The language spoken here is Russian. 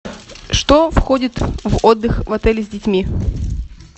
что входит в отдых в отеле с детьми